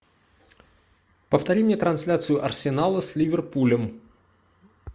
повтори мне трансляцию арсенала с ливерпулем